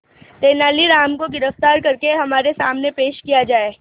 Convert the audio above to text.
तेनालीराम को गिरफ्तार करके हमारे सामने पेश किया जाए